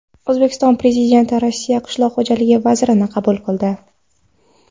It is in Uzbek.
O‘zbekiston Prezidenti Rossiya qishloq xo‘jaligi vazirini qabul qildi.